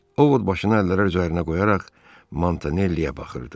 Ovod başını əllərə üzərinə qoyaraq Montanelliyə baxırdı.